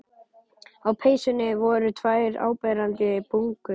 Á peysunni voru tvær áberandi bungur.